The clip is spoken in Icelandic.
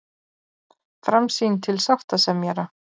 Framsýn til sáttasemjara